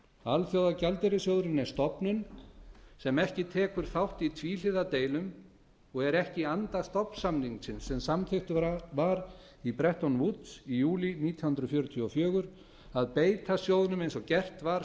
alþjóðagjaldeyrissjóðurinn er stofnun sem ekki tekur þátt í tvíhliða deilum og er ekki í anda stofnsamningsins sem samþykktur var í bretton woods í júlí nítján hundruð fjörutíu og fjögur að beita sjóðnum eins og gert var